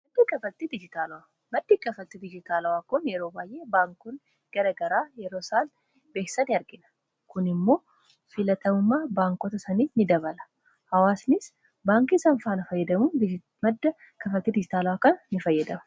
maddi kafaltii dijitaalawaa kun yeroo baayyee baankoonni garagaraa yeroo isaa beeysan argina. kun immoo filatamummaa baankota sanii in dabala hawaasnis baankii sanfaana fayyadamuu madda kafattii dijitaala akkan in fayyadamu.